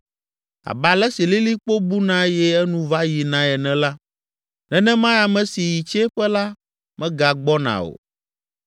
Abe ale si lilikpo buna eye enu va yinae ene la, nenemae ame si yi tsiẽƒe la megagbɔna o.